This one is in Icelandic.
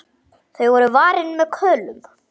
Þau voru varin með köðlum.